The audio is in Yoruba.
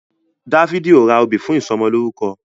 Dáfídì o rà òbí fún ìsomo lórúko